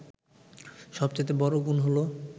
সবচাইতে বড় গুণ হল